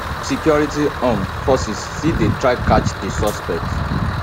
security um forces still dey try catch di suspects